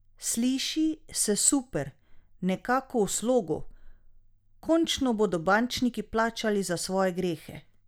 Sliši se super, nekako v slogu, končno bodo bančniki plačali za svoje grehe!